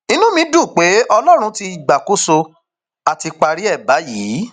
inú mi dùn pé ọlọrun ti gbàkóso á ti parí ẹ báyìí